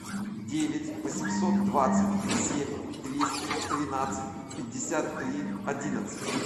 девять восемьсот двадцать семь двести тринадцать пятьдесят три одиннадцать